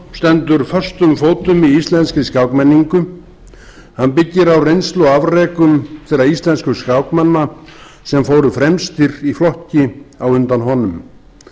stendur föstum fótum í íslenskri skákmenningu hann byggir á reynslu og afrekum þeirra íslensku skákmanna sem fóru fremstir í flokki á undan honum